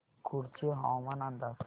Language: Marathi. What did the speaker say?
कुडची हवामान अंदाज